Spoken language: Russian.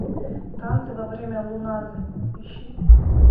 танцы во время луназы ищи